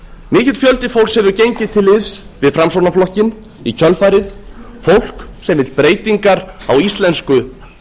mikill fjöldi fólks hefur gengið til liðs við framsóknarflokkinn í kjölfarið fólk sem vill breytingar á íslensku